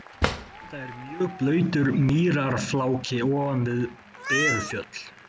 Þetta er mjög blautur mýrarfláki ofan við Berufjörð.